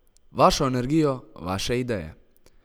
Vašo energijo, vaše ideje!